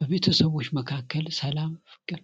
በቤተሰቦች መካከል ሰላም ፍቅር